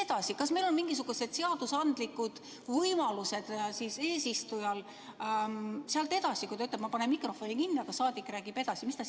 Kas eesistujal on mingisugused seadusandlikud võimalused sealt edasi, kui ta ütleb, et ta paneb mikrofoni kinni, aga saadik räägib edasi?